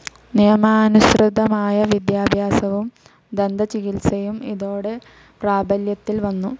നിയമാനുസൃതമായ വിദ്യാഭ്യാസവും ദന്തചികിത്സയും ഇതോടെ പ്രാബല്യത്തിൽ വന്നു.